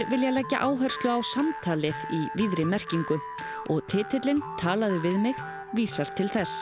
vilja leggja áherslu á samtalið í víðri merkingu og titillinn talaðu við mig vísar til þess